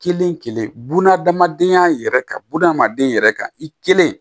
Kelen kelen buna adamadenya yɛrɛ kan buna hadamaden yɛrɛ kan i kelen